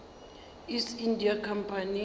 east india company